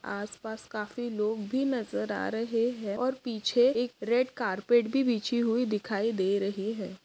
आसपास काफी लोग भी नज़र आ रहे है और पीछे एक रेड कार्पट भी बिछी हुई दिखाई दे रही है।